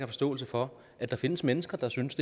forståelse for at der findes mennesker der synes